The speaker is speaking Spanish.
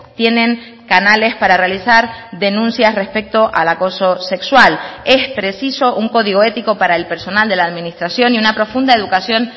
tienen canales para realizar denuncias respecto al acoso sexual es preciso un código ético para el personal de la administración y una profunda educación